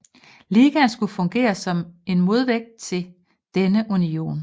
Ligaen skulle fungere som en modvægt til denne union